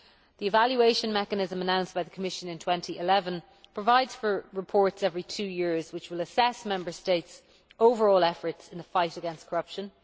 The evaluation mechanism announced by the Commission in 2011 provides for reports every two years which will assess Member States' overall efforts in the fight against corruption.